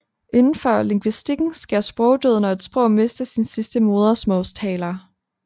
Indenfor lingvistikken sker sprogdød når et sprog mister sin sidste modersmålstaler